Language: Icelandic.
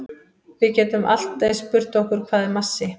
Við getum allt eins spurt okkur hvað er massi?